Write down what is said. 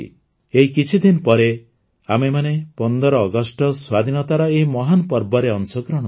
ଏଇ କିଛିଦିନ ପରେ ଆମେମାନେ ୧୫ ଅଗଷ୍ଟ ସ୍ୱାଧୀନତାର ଏହି ମହାନ ପର୍ବରେ ଅଂଶଗ୍ରହଣ କରିବା